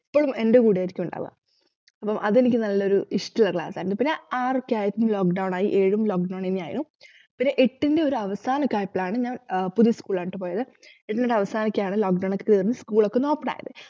ഇപ്പോഴും എന്റെ കൂടെയായിരിക്കും ഉണ്ടാവുക അപ്പൊ അതെനിക്ക് നല്ലൊരു ഇഷ്ടുള്ള class ആയിരുന്നു പിന്ന ആറൊക്കെ ആയപ്പോ lockdown ആയി ഏഴും lockdown എന്നെ ആയിരുന്നു പിന്നെ എട്ടിന്റെ ഒരവാസനൊക്കെ ആയപ്പോളാണൂ ഞാൻ ആഹ് പുതിയ school ആണുട്ടോ പോയത് എന്നിട്ടവസാനിക്കയാണ് lockdown ഒക്കെ തീർന്നു school ഒക്കെയൊന്ന് open ആയത്